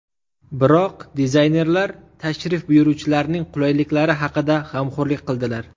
Biroq, dizaynerlar tashrif buyuruvchilarning qulayliklari haqida g‘amxo‘rlik qildilar.